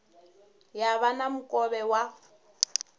ya vha na mukovhe wa